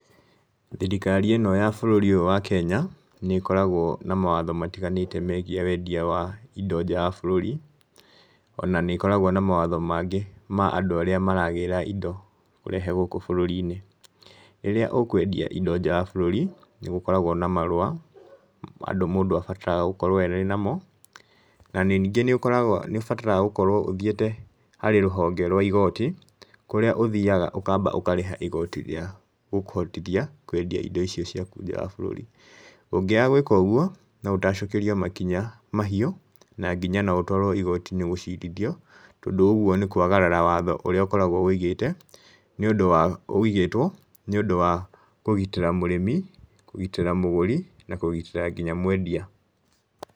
Thirikari ĩno ya bũrũri ũyũ wa Kenya, nĩ ĩkoragwo na mawatho matiganĩte megiĩ wendia wa indo nja wa bũrũri, ona nĩ ĩkoragwo na mawatho mangĩ ma andũ arĩa maragĩra indo kũrehe gũkũ bũrũri-inĩ, rĩrĩa ũkwendia indo nja ya bũrũri, nĩ gũkoragwo na marũa andũ mũndũ abataraga gũkorwo arĩ namo, na ningĩ nĩ ũkoragwo nĩ ũbataraga gũkorwo ũthiĩte harĩ rũhonge rwa igooti, kũríĩ ũthiaga ũkamba ũkarĩha igooti rĩa gũkũhotithia kwendia indo icio ciaku nja wa bũrũri. Ũngĩaga gwĩka ũguo no ũtacukĩrio makinya mahiũ, na nginya no ũtwarwo igooti-inĩ gũcirithio, tondũ ũguo nĩ kwagarara watho ũrĩa ũkoragwo ũigĩte nĩ ũndũ wa ũigĩtwo nĩ ũndũ wa kũgitĩra mũrĩmi, kũgitĩra mũgũri na kũgitĩra nginya mwendia.